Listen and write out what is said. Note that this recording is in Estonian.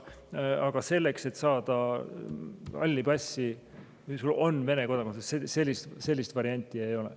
Aga sellist varianti, et sa saad halli passi, kui sul on Vene kodakondsus, ei ole.